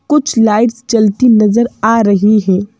कुछ लाइट्स जलती नजर आ रही हैं।